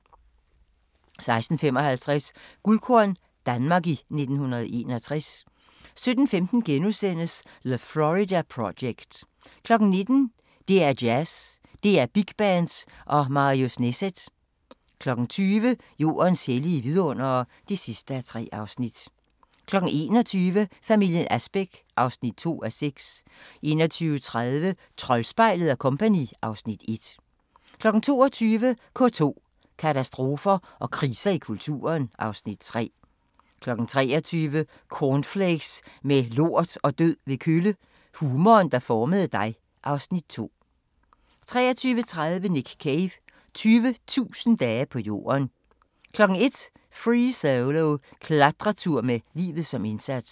16:55: Guldkorn - Danmark i 1961 17:15: The Florida Project * 19:00: DR2 Jazz: DR Big Band og Marius Neset 20:00: Jordens hellige vidundere (3:3) 21:00: Familien Asbæk (2:6) 21:30: Troldspejlet & Co. (Afs. 1) 22:00: K2: Katastrofer og kriser i kulturen (Afs. 3) 23:00: Cornflakes med lort og død ved kølle – humoren, der formede dig (Afs. 2) 23:30: Nick Cave – 20.000 dage på jorden 01:00: Free Solo – Klatretur med livet som indsats